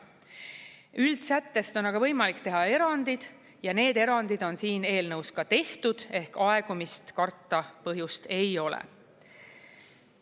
Üldsättest on aga võimalik teha erandeid ja need erandid on siin eelnõus ka tehtud ehk aegumist karta põhjust ei ole.